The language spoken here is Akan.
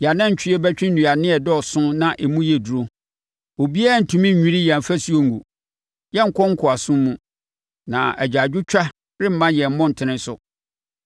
yɛn anantwie bɛtwe nnuane a ɛdɔɔso na emu yɛ duru. Obiara rentumi nnwiri yɛn afasuo ngu; yɛrenkɔ nkoasom mu, na agyaadwotwa remma yɛn mmɔntene so.